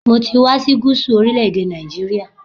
Mo ti wá sí Gúsù orílẹ̀-èdè Nàìjíríà